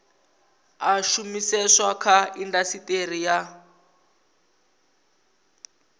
a shumiseswa kha indasiteri ya